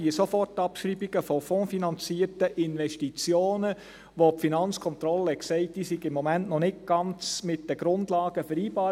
Diese Sofortabschreibungen von fondsfinanzierten Investitionen, von denen die Finanzkontrolle sagte, diese seien im Moment noch nicht ganz mit den Grundlagen vereinbar.